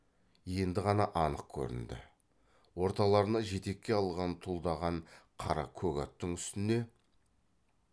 енді ғана анық көрінді орталарына жетекке алған тұлдаған қара көк аттың үстіне